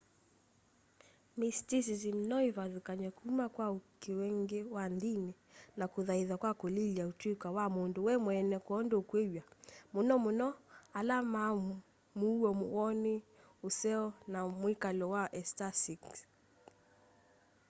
mysticism no ivathukanw'e kuma kwa uikii ungi wa ndini na kuthaitha kwa kulilya utuika wa mundu we mweene kwoondu ukwiyiw'a muno muno ala ma muuo woni useo o na mwikalo wa ecstatic